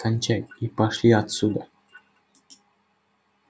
кончай и пошли отсюда